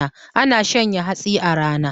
Ana shanya hatsi a rana